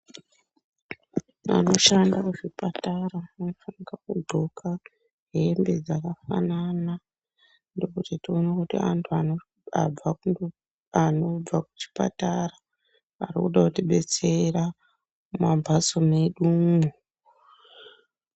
Vanoshanda muzvipatara vanofanirwa kudxoka hembe dzakafanana ndokuti tione kuti vantu vanobva kuchipatara anoda kutidetsera mumambatso mwedumo.